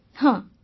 ବର୍ଷାବେନ୍ ହଁ